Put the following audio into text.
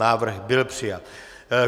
Návrh byl přijat.